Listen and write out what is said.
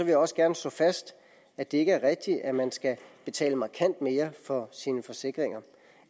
jeg også gerne slå fast at det ikke er rigtigt at man skal betale markant mere for sine forsikringer